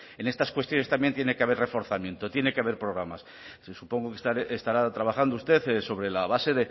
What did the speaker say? pues en estas cuestiones también tiene que haber reforzamiento tiene que haber programas supongo que estará trabajando usted sobre la base